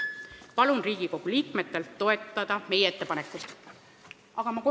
Palun Riigikogu liikmetel toetada meie ettepanekut!